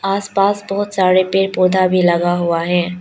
आसपास बहुत सारे पेड़ पौधा भी लगा हुआ है।